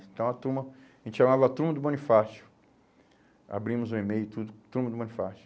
Então a turma, a gente chamava a turma do Bonifácio, abrimos o e-mail e tudo, turma do Bonifácio.